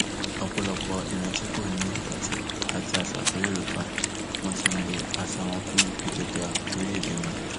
ọpọlọpọ ìran tí kò ní ìtàn àti àṣà tó yorùbá wọn ti ń lo àṣà wọn fún àgbéga orílẹèdè wọn